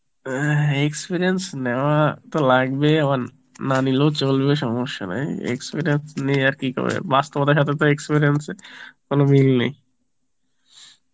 অ্যাঁ হ experience নেওয়া তো লাগবেই আবার না নিলেও চলবে সমস্যা নাই experience নিয়ে আর কি করবে বাস্তবের তো experience এর কোনো মিল নেই